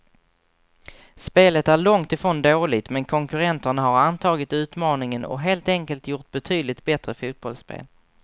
Spelet är långt ifrån dåligt, men konkurrenterna har antagit utmaningen och helt enkelt gjort betydligt bättre fotbollsspel.